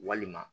Walima